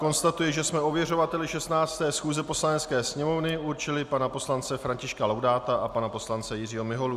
Konstatuji, že jsme ověřovateli 16. schůze Poslanecké sněmovny určili pana poslance Františka Laudáta a pana poslance Jiřího Miholu.